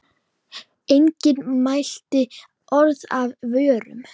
Enginn mælti orð af vörum.